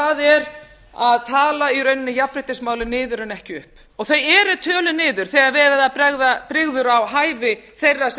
það er að tala í rauninni jafnréttismálin niður en ekki upp þau eru töluð niður þegar verið er að bera brigður á